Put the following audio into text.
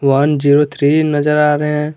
One zero three नजर आ रहे हैं।